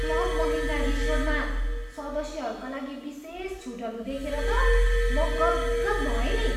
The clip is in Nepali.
क्लब महिन्द्रा रिसोर्टमा सदस्यहरूका लागि विशेष छुटहरू देखेर त म गद् गद् भएँ नि।